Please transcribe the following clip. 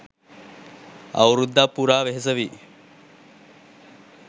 අවුරුද්දක් පුරා වෙහෙස වී